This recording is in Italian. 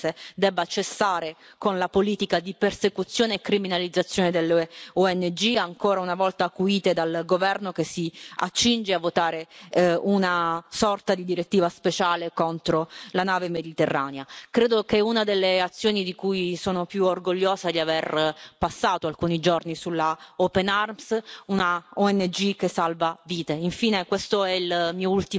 Credo, in particolare, che il mio paese debba cessare con la politica di persecuzione e criminalizzazione delle ONG, ancora una volta, acuite dal governo che si accinge a votare una sorta di direttiva speciale contro la nave mediterranea. Credo che una delle azioni di cui sono più orgogliosa è di aver passato alcuni giorni sulla Open Arms, una ONG che salva vite.